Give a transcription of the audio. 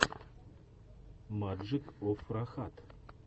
маджик оф рахат